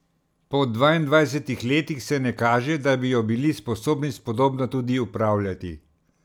Po dvaindvajsetih letih se ne kaže, da bi jo bili sposobni spodobno tudi upravljati.